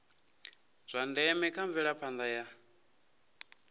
zwa ndeme kha mvelaphanda ya